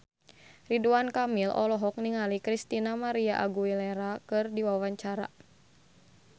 Ridwan Kamil olohok ningali Christina María Aguilera keur diwawancara